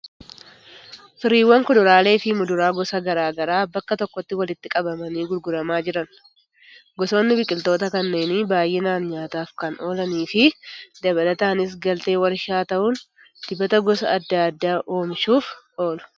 Firiiwwan kuduraalee fi muduraa gosa garaa garaa bakka tokkotti walitti qabamanii gurguramaa jiran. Gosoonni biqiltoota kanneenii baay'inaan nyaataaf kan oolanii fi dabalataanis galtee warshaalee ta'uun dibata gosa adda addaa oomishuuf oolu.